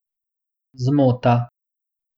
Zmota!